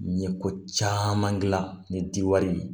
N ye ko caman gilan ni diwari in ye